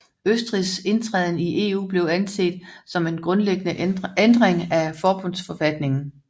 Østrigs indtræden i EU blev anset som en grundlæggende ændring af forbundsforfatningen